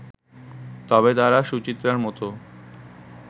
তবে তারা সুচিত্রার মতো